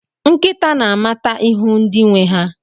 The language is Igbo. Nkịta na-amata ihu ndị nwe ha.